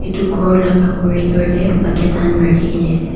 itu ghor laga corridoor tey bucket han rakhikena ase.